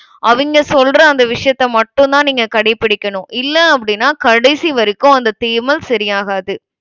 அவிங்க சொல்ற அந்த விஷயத்த மட்டும் தான் நீங்க கடைபிடிக்கணும். இல்ல அப்படினா கடைசி வரைக்கும் அந்த தேமல் சரியாகாது.